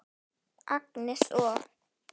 Agnes og